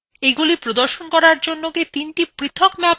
এগুলি প্রদর্শন করার জন্য কি তিনটি পৃথক ম্যাপ তৈরি করতে হবে